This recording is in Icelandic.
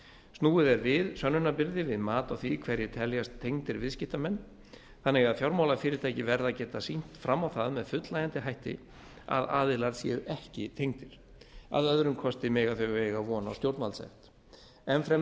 snúið er við sönnunarbyrði við mat á því hverjir teljast tengdir viðskiptamenn þannig að fjármálafyrirtæki verða að geta sýnt fram á það með fullnægjandi hætti að aðilar séu ekki tengdir að öðrum kosti mega þau eiga von á stjórnvaldssekt enn fremur